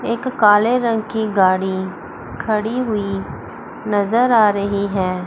एक काले रंग की गाड़ी खड़ी हुई नजर आ रही है।